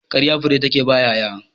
Ƙarya fure take baya ƴaƴa